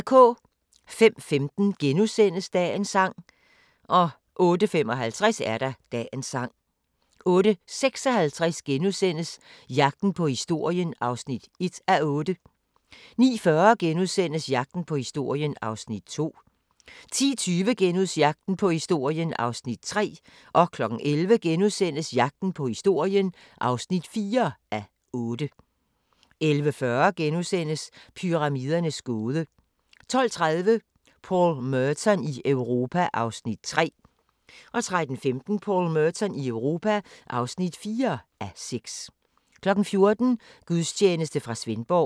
05:15: Dagens Sang * 08:55: Dagens Sang 08:56: Jagten på historien (1:8)* 09:40: Jagten på historien (2:8)* 10:20: Jagten på historien (3:8)* 11:00: Jagten på historien (4:8)* 11:40: Pyramidernes gåde * 12:30: Paul Merton i Europa (3:6) 13:15: Paul Merton i Europa (4:6) 14:00: Gudstjeneste fra Svendborg